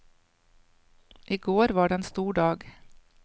I går var det en stor dag.